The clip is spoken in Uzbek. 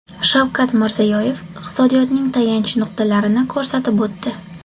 Shavkat Mirziyoyev iqtisodiyotning tayanch nuqtalarini ko‘rsatib o‘tdi.